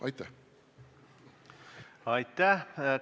Aitäh!